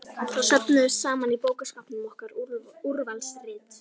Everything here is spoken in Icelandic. Þá söfnuðust saman í bókaskápnum okkar Úrvalsrit